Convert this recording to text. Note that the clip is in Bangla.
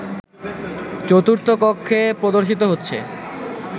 চতুর্থ কক্ষে প্রদর্শিত হচ্ছে